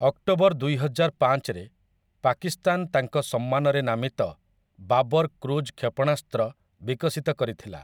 October ଦୁଇହଜାରପାଞ୍ଚରେ, ପାକିସ୍ତାନ ତାଙ୍କ ସମ୍ମାନରେ ନାମିତ 'ବାବର୍ କ୍ରୁଜ୍ କ୍ଷେପଣାସ୍ତ୍ର' ବିକଶିତ କରିଥିଲା ।